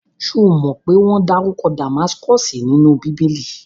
Ṣomo pé wọ́n dárúkọ Damaskosi nínú bíbélì?